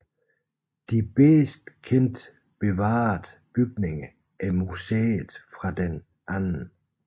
De bedst kendt bevarede bygninger er museet fra den 2